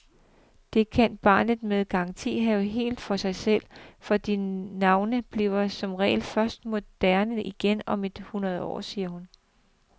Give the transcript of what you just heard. Det kan barnet med garanti have helt for sig selv, for de navne bliver som regel først moderne igen om et hundrede år, siger hun.